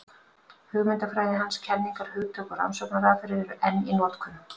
Hugmyndafræði hans, kenningar, hugtök og rannsóknaraðferðir eru enn í notkun.